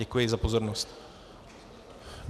Děkuji za pozornost.